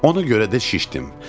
Ona görə də şişdim.